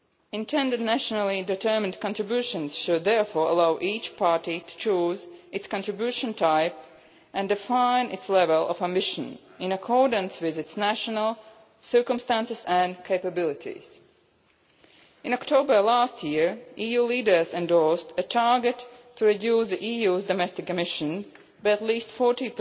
Intended nationally determined contributions should therefore allow each party to choose its contribution type and define its level of ambition, in accordance with its national circumstances and capabilities. In October last year, EU leaders endorsed a target to reduce the EU's domestic emissions by at least 40